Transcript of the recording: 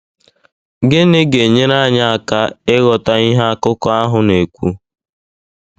Gịnị ga-enyere anyị aka ịghọta ihe akụkọ ahụ na-ekwu?